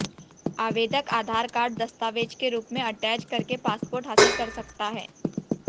आवेदक आधार कार्ड दस्तावेज के रूप में अटैच करके पासपोर्ट हासिल कर सकता है